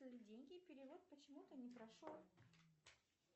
деньги перевод почему то не прошел